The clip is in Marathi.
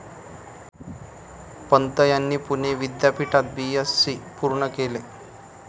पंत यांनी पुणे विद्यापीठात बीएससी पूर्ण केले.